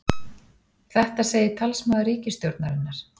Þetta segir talsmaður ríkisstjórnarinnar